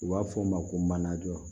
U b'a fɔ o ma ko manajɔ